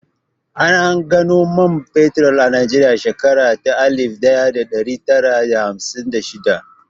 An gano man fetur a Najeriya a shekara ta alif ɗaya da ɗari tara da hamsin da shidda